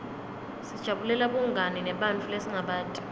sijabulela bungani nebantfu lesingabati